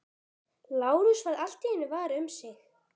Lárus varð allt í einu var um sig.